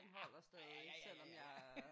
Ja ja ja ja ja ja ja